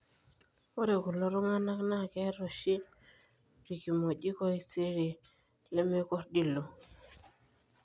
ore kulo tunganak naa keeta oshi irkimojik osiriri lemkordiloi